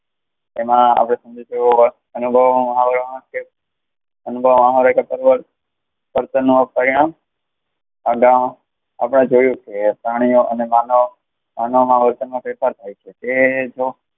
એમાં . અનુભવમાં નું પરિણામ,